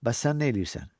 Bəs sən nə eləyirsən?